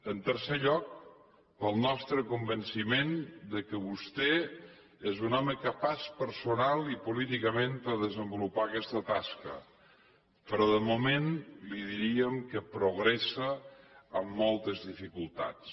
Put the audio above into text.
en tercer lloc per al nostre convenciment que vostè és un home capaç personalment i políticament per desenvolupar aquesta tasca però de moment li diríem que progressa amb moltes dificultats